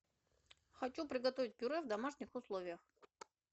хочу приготовить пюре в домашних условиях